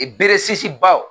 I bere sisi ba